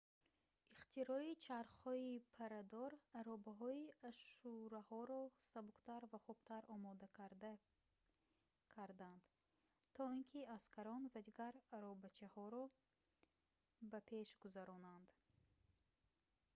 ихтирои чархҳои паррадор аробаҳои ашшураҳоро сабуктар ва хубтар омодакарда карданд то ин ки аскарон ва дигар аробачаҳоро пеш гузаронанд